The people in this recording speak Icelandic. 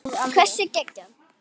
Hversu geggjað?